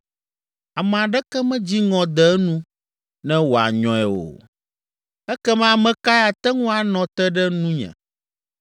Ame aɖeke medzi ŋɔ de enu ne wòanyɔe o. Ekema ame kae ate ŋu anɔ te ɖe nunye?